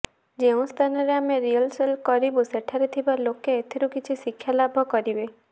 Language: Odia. ଯେଉଁସ୍ଥାନରେ ଆମେ ରିହର୍ସାଲ୍ କରିବୁ ସେଠାରେ ଥିବା ଲୋକେ ଏଥିରୁ କିଛି ଶିକ୍ଷାଲାଭ କରିବେ